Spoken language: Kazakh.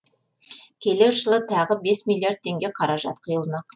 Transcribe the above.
келер жылы тағы бес миллиард теңге қаражат құйылмақ